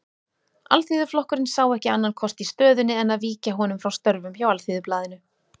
Alþýðuflokkurinn sá ekki annan kost í stöðunni en að víkja honum frá störfum hjá Alþýðublaðinu.